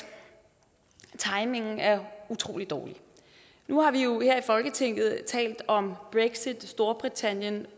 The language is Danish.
timingen er utrolig dårlig nu har vi jo her i folketinget talt om brexit storbritannien